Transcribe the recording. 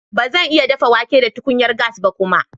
Ba zan iya dafa wake da tukunyar gas ba kuma.